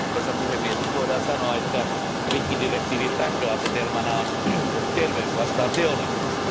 Arvoisa puhemies, voidaan sanoa, että rikkidirektiivin lähtöasetelmana on terveys vastaan teollisuus.